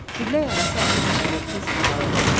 Güllə yarası əti bişirir, tez sağalır.